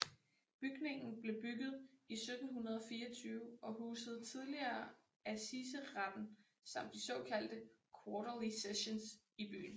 Bygningen blev bygget i 1724 og husede tidligere assiseretten samt de såkaldte Quarterly Sessions i byen